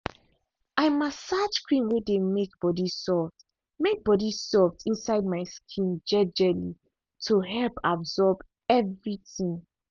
i massage cream way dey make body soft make body soft inside my skin jejely to help absorb everything.